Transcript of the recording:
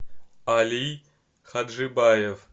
алий хаджибаев